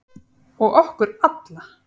Og okkur alla.